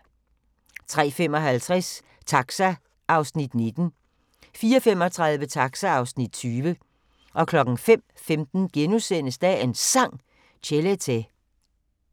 03:55: Taxa (Afs. 19) 04:35: Taxa (Afs. 20) 05:15: Dagens Sang: Chelete *